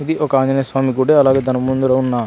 ఇది ఒక ఆంజనేయస్వామి గడి అలాగే దాని ముందర ఉన్న --